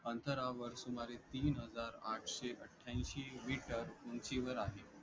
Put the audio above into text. अंतरावर सुमारे तीन हजार आठशे अठ्ठयाएंशी meter उंचीवर आहे.